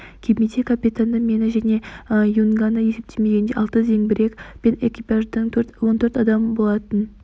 кемеде капитанды мені және юнганы есептемегенде алты зеңбірек пен экипаждың он төрт адамы болатын